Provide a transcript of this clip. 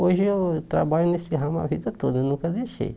Hoje eu trabalho nesse ramo a vida toda, nunca deixei.